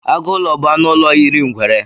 Agụlọ bụ anụ ụlọ yiri ngwere.